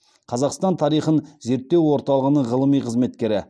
қазақстан тарихын зерттеу орталығының ғылыми қызметкері